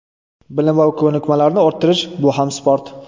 Bilim va ko‘nikmalarni orttirish – bu ham sport.